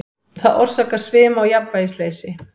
Það orsakar svima og jafnvægisleysi.